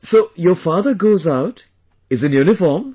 So your father goes out, is in uniform